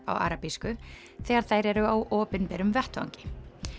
á arabísku þegar þær eru á opinberum vettvangi